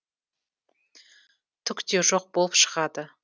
түк те жоқ болып шығады